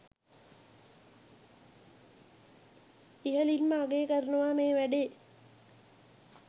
ඉහලින්ම අගය කරනව මේ වැඩේ